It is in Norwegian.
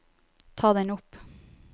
ta den opp